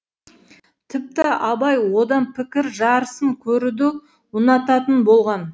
тіпті абай одан пікір жарысын көруді ұнататын болған